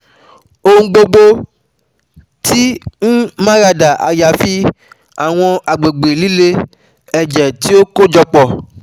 Ohun gbogbo ti um marada ayafi um awọn agbegbe lile, ẹjẹ ti o um kojọpọ